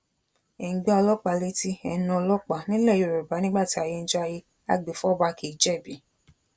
ẹ ń gba ọlọpàá letí ẹ ń ná ọlọpàá nílẹ̀ yorùbá nígbà tí ayé ń jayé agbèfọba kì í jẹbi